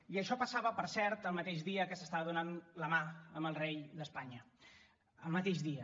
i això passava per cert el mateix dia que s’estava donant la mà amb el rei d’espanya el mateix dia